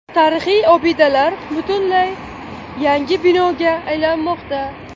Tarixiy obidalar butunlay yangi binoga aylanmoqda.